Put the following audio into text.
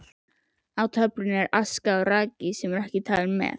Í töflunni eru aska og raki ekki talin með.